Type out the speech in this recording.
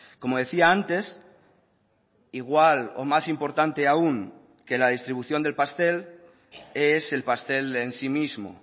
como decía antes igual o más importante aún que la distribución del pastel es el pastel en sí mismo